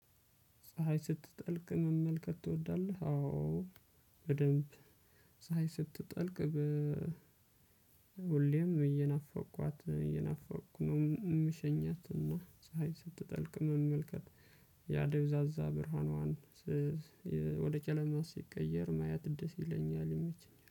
ፀሀይ ስትጠልቅ መመልከት ትወዳለህ? አዎ በደንብ ፀሀይ ስትጠልቅ። ሁሌም እየናፈቅኋት እየናፈቅኋት ነው የምሸኛትና ስለዚህ ፀሀይ ስትጠልቅ መመልከት ያደብዛዛ ብርሃኗን። ወደ ጨለማ ሲቀየር ማየት ደስ ይለኛል የሚችል